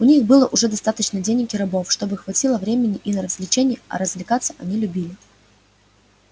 у них было уже достаточно денег и рабов чтобы хватило времени и на развлечения а развлекаться они любили